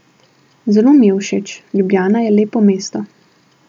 Zelo mi je všeč, Ljubljana je lepo mesto.